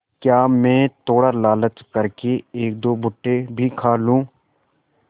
क्या मैं थोड़ा लालच कर के एकदो भुट्टे भी खा लूँ